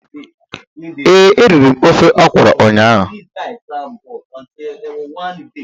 Ee, eriri m ofe ọkrọ ụnyaahụ